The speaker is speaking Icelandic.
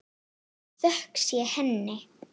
Þökk sé henni.